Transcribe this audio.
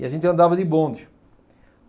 E a gente andava de bonde.